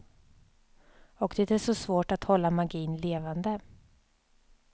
Och det är så svårt att hålla magin levande.